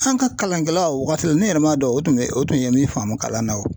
An ka kalankɛla o wagati la ne yɛrɛ m'a dɔn o tun bɛ o tun ye min faamu kalan na o.